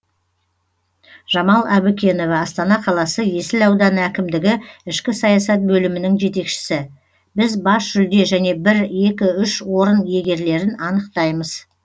жамал әбікенова астана қаласы есіл ауданы әкімдігі ішкі саясат бөлімінің жетекшісі біз бас жүлде және бір екі үш орын иегерлерін анықтаймыз